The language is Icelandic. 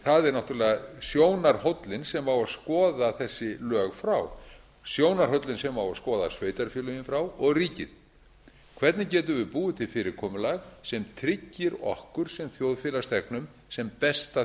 sjónarhóllinn sem á að skoða þessi lög frá sjónarhóllinn sem á að skoða sveitarfélögin frá og ríkið hvernig getum við búið til fyrirkomulag sem tryggir okkur sem þjóðfélagsþegnum sem besta